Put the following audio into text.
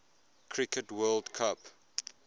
cricket world cup